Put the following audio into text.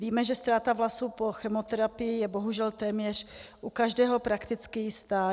Víme, že ztráta vlasů po chemoterapii je bohužel téměř u každého prakticky jistá.